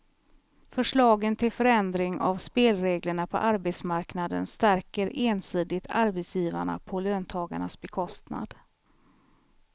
Förslagen till förändring av spelreglerna på arbetsmarknaden stärker ensidigt arbetsgivarna på löntagarnas bekostnad.